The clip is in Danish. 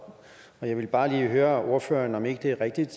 jeg vil bare lige høre ordføreren om ikke det er rigtigt